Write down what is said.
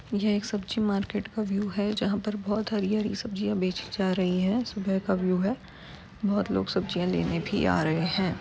यह एक सब्जी मार्केट का व्यू है जहां पर बोहोत हरी -हरी सब्जिया बेचीं जा रही हैं | सुबह का व्यू है बोहोत लोग सब्जियां लेने भी आ रहे हैं।